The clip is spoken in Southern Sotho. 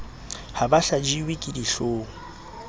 ha ba hlajiwe ke dihloong